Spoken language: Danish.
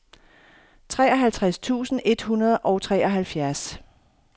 treoghalvtreds tusind et hundrede og treoghalvfjerds